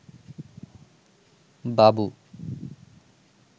বাবু